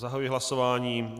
Zahajuji hlasování.